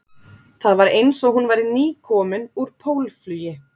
Það var eins og hún væri nýkomin úr pólflugi